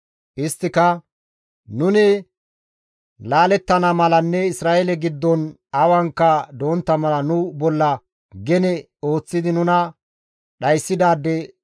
Isttika, «Nuni laalettana malanne Isra7eele giddon awankka dontta mala nu bolla gene ooththidi nuna dhayssidaade